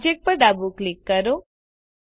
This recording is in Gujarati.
Objectપર ડાબું ક્લિક કરો